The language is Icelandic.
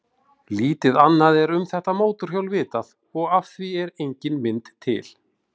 Lítið annað er um þetta mótorhjól vitað og af því er engin mynd til.